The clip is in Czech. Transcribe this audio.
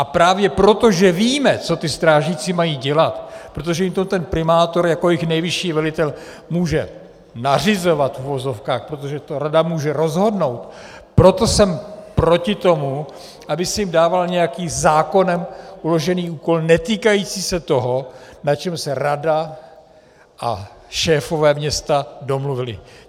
A právě proto, že víme, co ti strážníci mají dělat, protože jim to ten primátor jako jejich nejvyšší velitel může nařizovat, v uvozovkách, protože to rada může rozhodnout, proto jsem proti tomu, aby se jim dával nějaký zákonem uložený úkol netýkající se toho, na čem se rada a šéfové města domluvili.